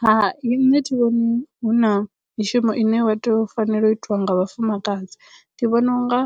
Hai nṋe thi vhoni hu na mishumo ine wa tea u fanela u itwa nga vhafumakadzi ndi vhona unga